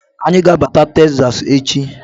Anyi ga-abata Teksas echi.